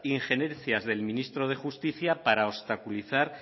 injerencias del ministro de justicia para obstaculizar